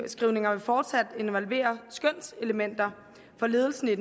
vil fortsat involvere skønselementer for ledelserne i